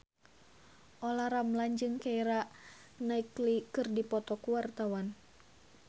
Olla Ramlan jeung Keira Knightley keur dipoto ku wartawan